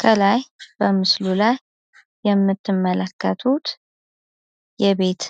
ከላይ በምስሉ ላይ የምትመለከቱት የቤት